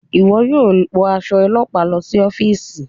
Iwọ yóò wọ aṣọ ọlọpa lọ si ọfiisi